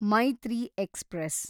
Maitree express